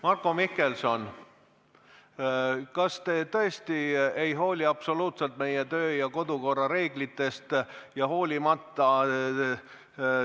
Marko Mihkelson, kas te tõesti ei hooli absoluutselt meie kodu- ja töökorra reeglitest?